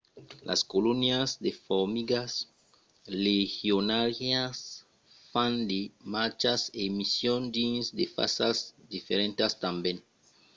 las colonias de formigas legionàrias fan de marchas e nison dins de fasas diferentas tanben